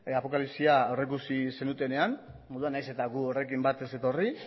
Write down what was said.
apokalipsia aurreikusi zenutenean orduan nahiz eta gu horrekin bat ez etorri